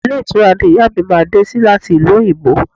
Ilé ìtura ni ìyá mi máa dé sí láti ìlú òyìnbó